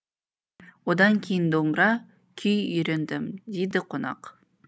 одан кейін домбыра күй үйрендім дейді қонақ